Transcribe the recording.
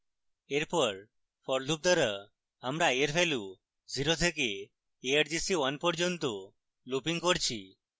এরপর for loop দ্বারা আমরা i এর value 0 থেকে argc1 পর্যন্ত looping করছি